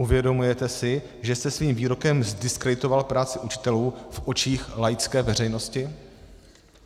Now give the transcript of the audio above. Uvědomujete si, že jste svým výrokem zdiskreditoval práci učitelů v očích laické veřejnosti?